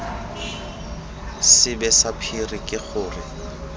sebe sa phiri ke gore